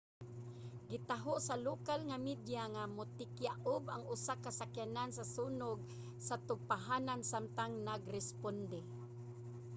gitaho sa lokal nga media nga mitikyaob ang usa ka sakyanan sa sunog sa tugpahanan samtang nag-responde